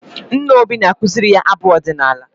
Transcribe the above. Nna Obi na-akụziri ya abụ ọdịnala.